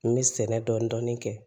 N bɛ sɛnɛ dɔɔnin-dɔɔnin kɛ